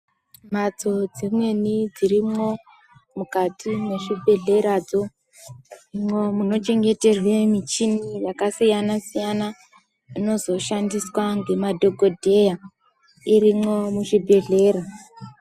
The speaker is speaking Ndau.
Mbatso dzimweni dzirimo mukati mezvibhedhlera munochengeterwa michini yakasiyana siyana Inoshandiswa nemadhokoteya irimwo muzvibhedhlera.